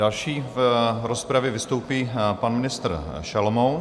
Další v rozpravě vystoupí pan ministr Šalomoun.